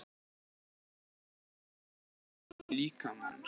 Þau eru helstu öndunarfæri líkamans.